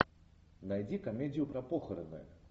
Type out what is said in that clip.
найди комедию про похороны